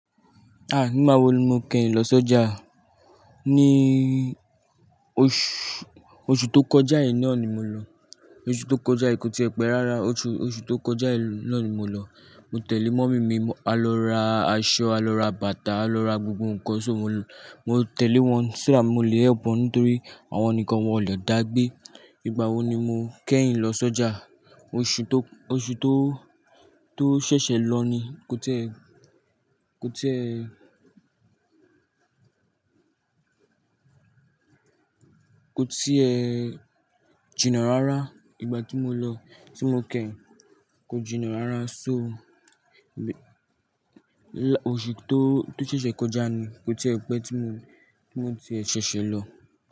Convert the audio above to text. Ah! Nígbà wo ni mo kẹ́yin lọ sọ́jà? Ní oṣù, oṣù tó kọjá yìí náà ni mo lọ. Oṣù tó kọjá yìí, kò tíí ẹ pé rárá, oṣù tó kọjá yìí náà ni mo lọ. Mo tẹ̀lé mọ́mì mi, a lọ ra aṣọ, a lọ ra bàtà, a lọ ra gbogbo ǹkan, so mo tẹ̀lé wọn so that mo lè help wọn nítorí àwọn nikan wọn ò le dá gbé. Ìgbà wo ni mo kẹ́yin lọ sọ́jà? Oṣù tó, oṣù tó, tó ṣẹ̀ṣẹ̀ lọ ni, kò tíí ẹ, kò tíí ẹ, kò tíí ẹ jìnnà rárá. Ìgbà tí mo lọ, tí mo kẹ́yin, kò jìnnà rárá, so oṣù tó, tó ṣẹ̀ṣẹ̀ kọjá ni, kò tíí ẹ pé tí mo, tí mo ti ṣẹ̀ṣẹ̀ lọ.